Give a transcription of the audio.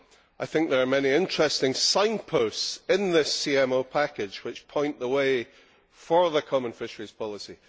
I think there are many interesting signposts in this CMO package which point the way for the Common Fisheries Policy.